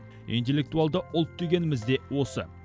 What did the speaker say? интеллектуалды ұлт дегеніміз де осы